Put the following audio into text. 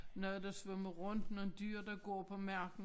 Noget der svømmer rundt nogen dyr der går på marken